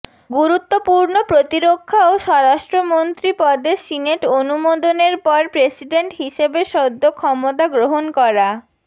গুরুত্বপূর্ণ প্রতিরক্ষা ও স্বরাষ্ট্রমন্ত্রী পদে সিনেট অনুমোদনের পর প্রেসিডেন্ট হিসেবে সদ্য ক্ষমতা গ্রহণ করা